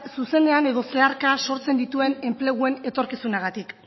zuzenean edo zeharka sortzen dituen enpleguen etorkizunagatik